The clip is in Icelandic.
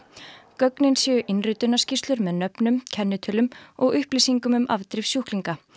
gögnin séu með nöfnum kennitölum og upplýsingum um afdrif sjúklinga